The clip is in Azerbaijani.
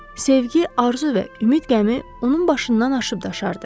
Sevgi, arzu və ümid qəmi onun başından aşıb daşardı.